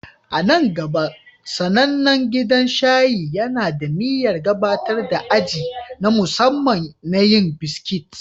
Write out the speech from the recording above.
A nan gaba, sanannen gidan shayi yana da niyyar gabatar da aji na musamman na yin biskit